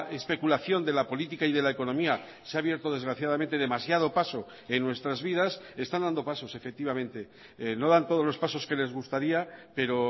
especulación de la política y de la economía se ha abierto desgraciadamente demasiado paso en nuestras vidas están dando pasos efectivamente no dan todos los pasos que les gustaría pero